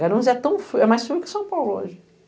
Garonze é mais frio que São Paulo hoje.